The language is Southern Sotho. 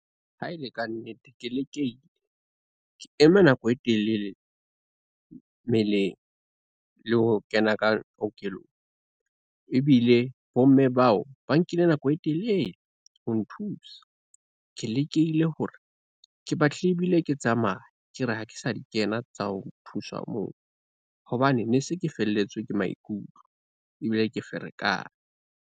Ha ele ka nnete, ke eme nako e telele meleng le ho kena ka kokelong, ebile bomme bao ba nkile nako e telele ho nthusa. Ke lekile hore ke batlile ebile ke tsamaya ke re ha ke sa di kena tsa ho thuswa moo hobane ne se ke felletswe ke maikutlo ebile ke ferekane.